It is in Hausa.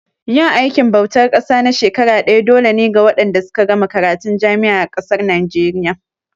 Yin aikin bautar ƙasa na shekara ɗaya dole ne ga waɗanda suka gama karatun jami'a a ƙasar Naijeriya.